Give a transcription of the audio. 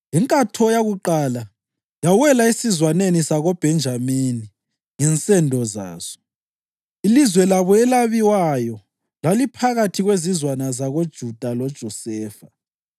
Inkatho yakuqala yawela esizwaneni sakoBhenjamini ngensendo zaso. Ilizwe labo elabiwayo laliphakathi kwezizwana zakoJuda loJosefa: